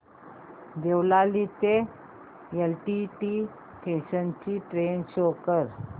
देवळाली ते LTT station ची train show कर